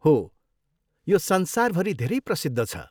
हो, यो संसारभरि धेरै प्रसिद्ध छ।